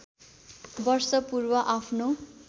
वर्ष पूर्व आफ्नो